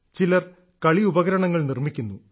ചിലർ കളിയുപകരണങ്ങൾ നിർമ്മിക്കുന്നു